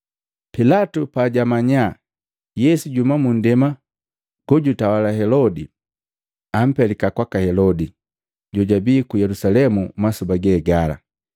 Pilatu pajamanya Yesu jahumi mundema jejitawala Helodi, ampelika kwaka Helodi, jojabii ku Yelusalemu masoba gegala.